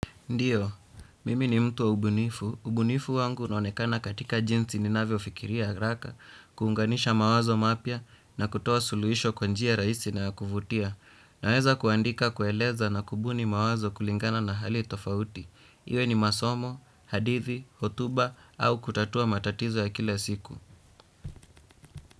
Ndio, mimi ni mtu wa ubunifu. Ubunifu wangu unaonekana katika jinsi ninavyofikiria haraka, kuunganisha mawazo mapya na kutoa suluhisho kwa njia rahisi na ya kuvutia. Naweza kuandika, kueleza na kubuni mawazo kulingana na hali tofauti. Iwe ni masomo, hadithi, hotuba au kutatua matatizo ya kila siku.